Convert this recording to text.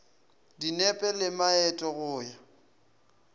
dinepe le maeto go ya